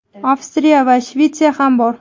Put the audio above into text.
Avstriya va Shvetsiya ham bor.